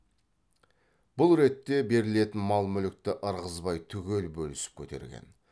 бұл ретте берілетін мал мүлікті ырғызбай түгел бөлісіп көтерген